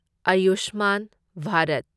Ayushman Bharat